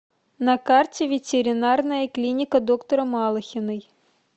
на карте ветеринарная клиника доктора малыхиной